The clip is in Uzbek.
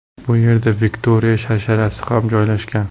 Bu yerda Viktoriya sharsharasi ham joylashgan.